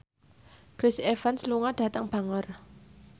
Chris Evans lunga dhateng Bangor